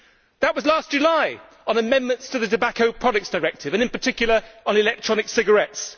That was last July, on the amendments to the Tobacco Products Directive and, in particular, on electronic cigarettes.